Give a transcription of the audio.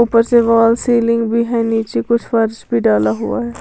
ऊपर से wall ceiling भी है नीचे कुछ फर्श भी डाला हुआ है।